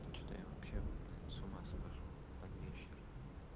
что-то я вообще с ума схожу под вечер